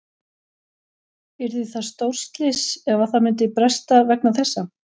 Yrði það stórslys ef að það myndi bresta vegna þessa?